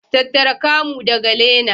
Tattara camo daga leaner.